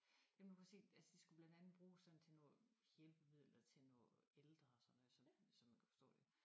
Jamen du kan se altså det skulle blandt andet bruges sådan til noget hjælpemidler til noget ældre og sådan noget så så så man kunne forstå det